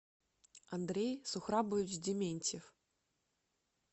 андрей сухрабович дементьев